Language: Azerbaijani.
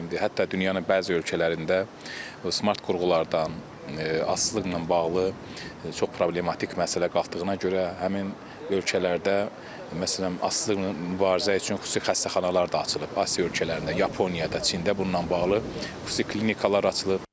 Hətta dünyanın bəzi ölkələrində smart qurğulardan asılılıqla bağlı çox problematik məsələ qalxdığına görə həmin ölkələrdə məsələn asılıqla mübarizə üçün xüsusi xəstəxanalar da açılıb, Asiya ölkələrində, Yaponiyada, Çində bununla bağlı xüsusi klinikalar açılıb.